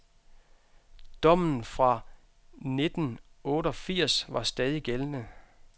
Dommen fra nitten otteogfirs var stadig gældende.